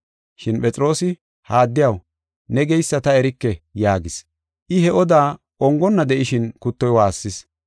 Shin Phexroosi, “Ha addiyaw, ne geysa ta erike” yaagis. I he oda ongonna de7ishin kuttoy waassis.